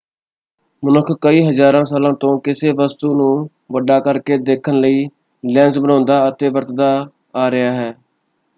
ਮਨੁੱਖ ਕਈ ਹਜ਼ਾਰਾਂ ਸਾਲਾਂ ਤੋਂ ਕਿਸੇ ਵਸਤੂ ਨੂੰ ਵੱਡਾ ਕਰਕੇ ਦੇਖਣ ਲਈ ਲੈਂਜ਼ ਬਣਾਉਂਦਾ ਅਤੇ ਵਰਤਦਾ ਆ ਰਿਹਾ ਹੈ।